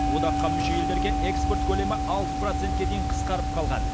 одаққа мүше елдерге экспорт көлемі алты процентке дейін қысқарып қалған